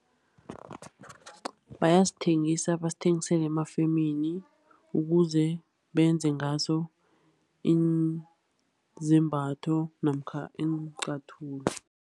Bayasithengisa, basithengisele emafemini ukuze benze ngaso izembatho namkha iinqathulo.